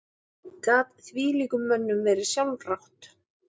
Gat þvílíkum mönnum verið sjálfrátt?